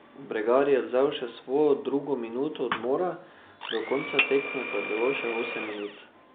Bregar je vzel še svojo drugo minuto odmora, do konca tekme pa je bilo še osem minut.